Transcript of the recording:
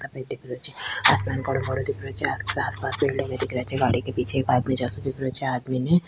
सफ़ेद दिख रहे छे आसमान कालो कालो दिख रहे छे आस पास आस पास बिल्डिंगे दिख रहे छे गाड़ी के पीछे एक आदमी जाते दिख रहे छे आदमी ने --